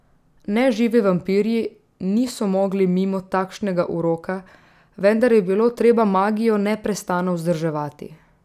Neživi vampirji niso mogli mimo takšnega uroka, vendar je bilo treba magijo neprestano vzdrževati.